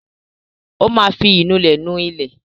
Ó máa fi ìnulẹ̀ nu ilẹ̀.